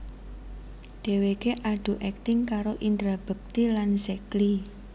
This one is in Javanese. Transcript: Dheweké adu akting karo Indra Bekti lan Zack Lee